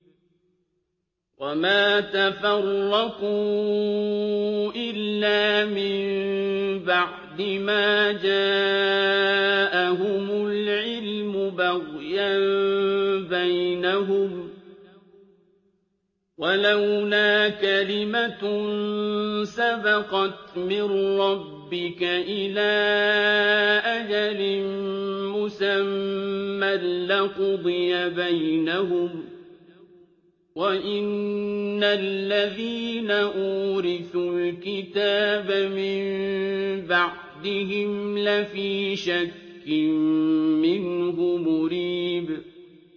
وَمَا تَفَرَّقُوا إِلَّا مِن بَعْدِ مَا جَاءَهُمُ الْعِلْمُ بَغْيًا بَيْنَهُمْ ۚ وَلَوْلَا كَلِمَةٌ سَبَقَتْ مِن رَّبِّكَ إِلَىٰ أَجَلٍ مُّسَمًّى لَّقُضِيَ بَيْنَهُمْ ۚ وَإِنَّ الَّذِينَ أُورِثُوا الْكِتَابَ مِن بَعْدِهِمْ لَفِي شَكٍّ مِّنْهُ مُرِيبٍ